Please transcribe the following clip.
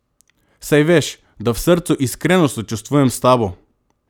Saj veš, da v srcu iskreno sočustvujem s tabo!